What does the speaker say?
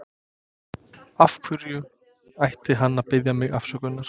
Af hverju ætti hann að biðja mig afsökunar?